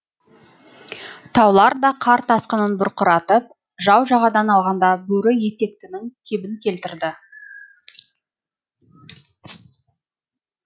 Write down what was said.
таулар да қар тасқынын бұрқыратып жау жағадан алғанда бөрі етектеннің кебін келтірді